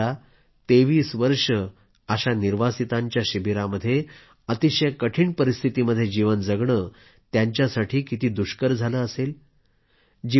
जरा विचार करा 23 वर्षे अशा निर्वासितांच्या शिबिरामध्ये अतिशय कठिण परिस्थितीमध्ये जीवन जगणे त्यांच्यासाठी दुष्कर झालं असेल